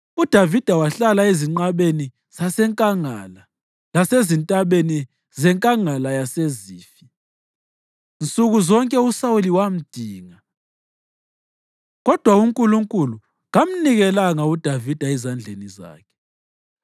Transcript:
UDavida wahlala ezinqabeni zasenkangala lasezintabeni zeNkangala yaseZifi. Nsuku zonke uSawuli wamdinga, kodwa uNkulunkulu kamnikelanga uDavida ezandleni zakhe.